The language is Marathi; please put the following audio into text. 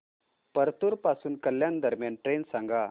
परतूर पासून कल्याण दरम्यान ट्रेन सांगा